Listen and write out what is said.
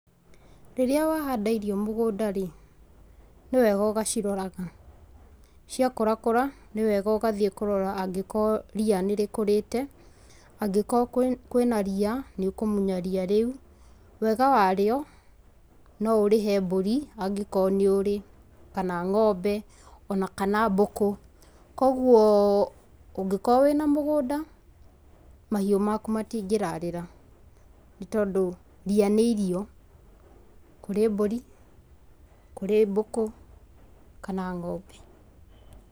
Rĩrĩa wahanda irio mũgũnda rĩ, nĩ wega ũgaciroraga. Ciakũrakũra, nĩ wega ũgathiĩ kũrora angĩkorwo ria nĩrĩkũrĩte, angĩkorwo kwĩna ria, nĩ ũkũmunya ria rĩu. Wega warĩo, no ũrĩhe mbũri angĩkorwo nĩ ũrĩ, kana ng'ombe, ona kana mbũkũ, koguo ũngĩkorwo wĩna mũgũnda, mahiũ maku matingĩrarĩra, nĩ tondũ ria nĩ irio, kũrĩ mbũri, kũrĩ mbũkũ, kana ng'ombe.